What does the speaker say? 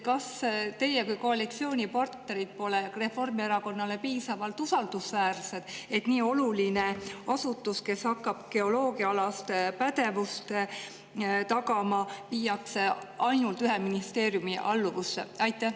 Kas teie kui koalitsioonipartnerid pole Reformierakonnale piisavalt usaldusväärsed, et nii oluline asutus, kes hakkab geoloogiaalast pädevust tagama, viiakse ainult ühe ministeeriumi alluvusse?